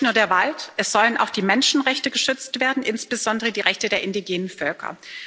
Es soll nicht nur der Wald, es sollen auch die Menschenrechte geschützt werden, insbesondere die Rechte der indigenen Völker.